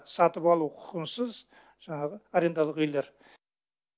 сатып алу құқығынсыз жаңағы арендалық үйлер